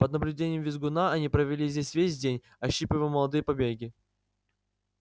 под наблюдением визгуна они провели здесь весь день ощипывая молодые побеги